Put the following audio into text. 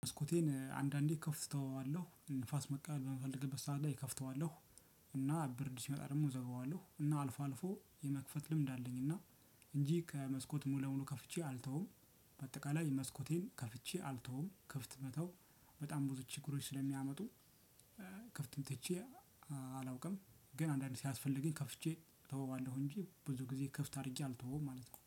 መስኮቴን አንዳንዴ ከፍተዋለሁ ንፋስ መቀበል በምፈለገበት ሰዓት ላይ ከፍተዋለሁ። እና ብርድ ሲመጣ ደግሞ እዘጋዋለሁ እና አልፎ አልፎ የመክፈት ልምድ አለኝ። እና እንጂ ከመስኮት ሙሉ ለሙሉ ከፍቼ አልተውም። በአጠቃላይ መስኮቴን ከፍቼ አልተውም ክፍት መተው በጣም ብዙ ችግሮች ስለሚያመጡ። ክፍትም ትቼ አላውቅም ግን አንዳንዴ ሲያስፈልጊኝ ከፍቼ ተወዋለሁ። እንጂ ብዙ ጊዜ ክፍት አድርጌ አልተወውም ማለት ነው